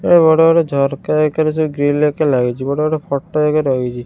ଏ ବଡ ବଡ ଝରକା ଏକାରେ ସବୁ ଗ୍ରିଲ୍ ଏକା ଲାଗିଚି ବଡ଼ ବଡ ଫୋଟ ଏକା ଲାଗିଚି।